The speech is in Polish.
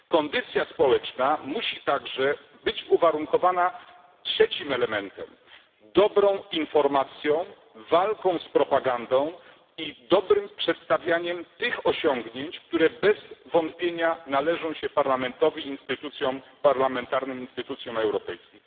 Kondycja społeczna musi także być uwarunkowana trzecim elementem dobrą informacją, walką z propagandą i dobrym przedstawianiem tych osiągnięć, które bez wątpienia należą się parlamentowi, instytucjom parlamentarnym, instytucjom europejskim.